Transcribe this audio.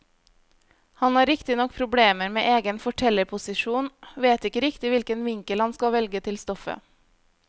Han har riktignok problemer med egen fortellerposisjon, vet ikke riktig hvilken vinkel han skal velge til stoffet.